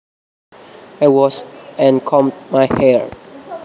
I washed and combed my hair